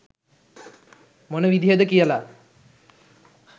මොන විදිහද කියලා